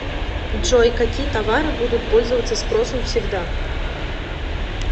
джой какие товары будут пользоваться спросом всегда